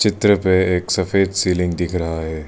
इधर पे एक सफेद सीलिंग दिख रहा है।